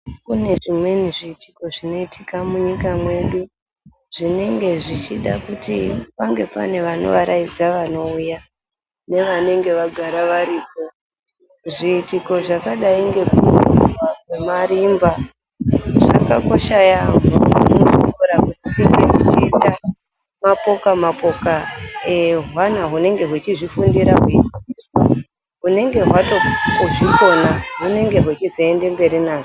Kune zvimweni zviitiko zvinoitika munyika mwedu zvinenge zvichida kuti pange pane vanovaraidza vanouya nevanonge vagara varipo. Zviitiko zvakadai ngekuridzwa kwemarimba. Zvakakosha yaampho muzvikora kuti tinge techiita mapokamapoka ehwana hunonga hwechifundira hwechidzidziswa hunenge hwatozvikona hunenge hwechizoende mberi nazvo.